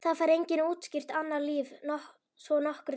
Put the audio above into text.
Það fær enginn útskýrt annars líf svo nokkru nemi.